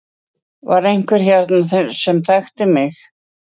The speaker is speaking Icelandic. Var einhver hérna sem þekkti mig?